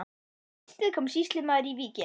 Um haustið kom sýslumaður í víkina.